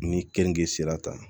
Ni keninge sera tan